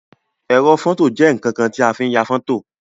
Ẹrọ fọto jẹ nkankan ti a fi n ya fọto.